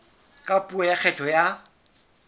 ka puo ya kgetho ya